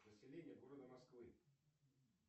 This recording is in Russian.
население города москвы